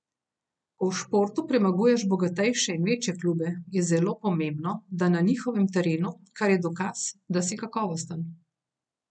Ko v športu premaguješ bogatejše in večje klube, je zelo pomembno, da na njihovem terenu, kar je dokaz, da si kakovosten.